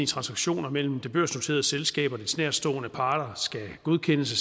transaktioner mellem det børsnoterede selskab og dets nærtstående parter skal godkendes af